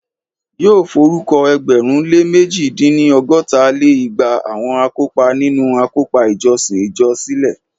Yóò forúkọ ẹgbẹ̀rún lé mẹ̀ji dín-ní- ọgọ́ta lé igba àwọn akópa nínu àkópọ̀ ìjọsìn ìjọ sílẹ̀